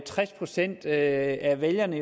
tres procent af af vælgerne